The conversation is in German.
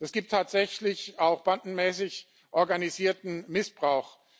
Es gibt tatsächlich auch bandenmäßig organisierten Missbrauch.